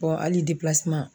Bɔn ali depilaseman